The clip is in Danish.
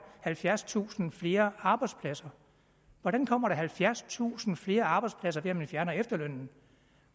halvfjerdstusind flere arbejdspladser hvordan kommer der halvfjerdstusind flere arbejdspladser ved at man fjerner efterlønnen